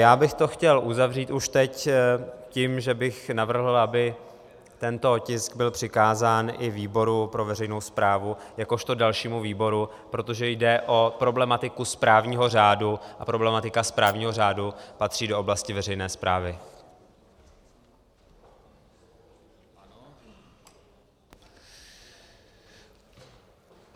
Já bych to chtěl uzavřít už teď tím, že bych navrhl, aby tento tisk byl přikázán i výboru pro veřejnou správu jakožto dalšímu výboru, protože jde o problematiku správního řádu a problematika správního řádu patří do oblasti veřejné správy.